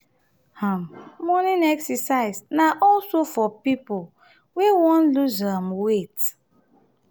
um morning exercise na also for pipo wey won loose um weight